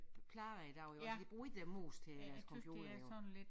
Plader i dag jo iggås de bruger ikke de der mus til deres computere jo